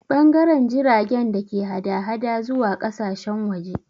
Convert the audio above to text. Ɓangaren jiragen da ke hada-hada zuwa ƙasashen waje